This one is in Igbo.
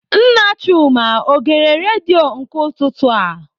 Nna Chuma ọ gere redio nke ụtụtụ a?